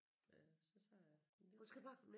Øh så sagde jeg men det